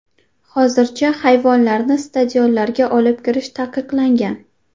Hozircha hayvonlarni stadionlarga olib kirish taqiqlangan.